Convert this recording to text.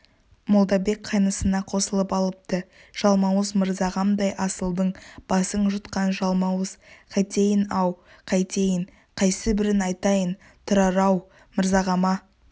молдабек қайнысына қосылып алыпты жалмауыз мырзағамдай асылдың басын жұтқан жалмауыз қайтейін-ау қайтейін қайсыбірін айтайын тұрар-ау мырзағама